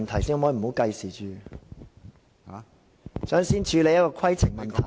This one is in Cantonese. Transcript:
朱議員，這並非規程問題。